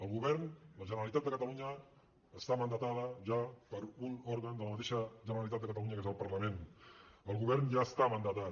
el govern la generalitat de catalunya està mandatada ja per un òrgan de la mateixa generalitat de catalunya que és el parlament el govern ja està mandatat